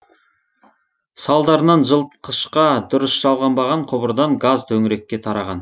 салдарынан жылытқышқа дұрыс жалғанбаған құбырдан газ төңірекке тараған